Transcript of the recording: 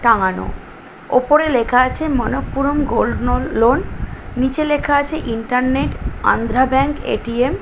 টাঙানো ওপরে লেখা আছে মনপ্পুরম গোল্ড নোল লোন নিচে লেখা আছে ইন্টারনেট অন্ধ্রা ব্যাঙ্ক এ.টি.এম. ।